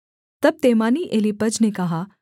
तब तेमानी एलीपज ने कहा